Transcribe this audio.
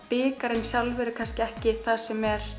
bikarinn sjálfur er kannski ekki það sem er